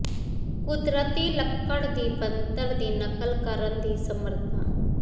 ਕੁਦਰਤੀ ਲੱਕੜ ਦੀ ਬਣਤਰ ਦੀ ਨਕਲ ਕਰਨ ਦੀ ਸਮਰੱਥਾ